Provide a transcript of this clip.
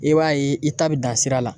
I b'a ye i ta bɛ dan sira la